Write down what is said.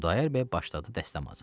Xudayar bəy başladı dəstəmazı.